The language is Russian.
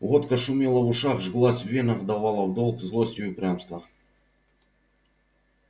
водка шумела в ушах жглась в венах давала в долг злость и упрямство